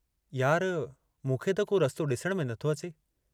यार मूंखे त को रस्तो डिसण में नथो अचे।